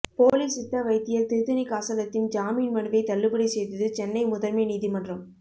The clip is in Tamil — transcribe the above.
போலி சித்த வைத்தியர் திருத்தணிகாசலத்தின் ஜாமீன் மனுவை தள்ளுபடி செய்தது சென்னை முதன்மை நீதிமன்றம்